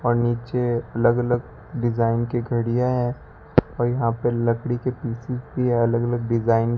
और नीचे अलग अलग डिजाइन की घड़ियां है और यहां पर लकड़ी के पीछे पे अलग अलग डिजाइन --